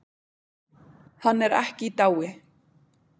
Hann er ekki í dái.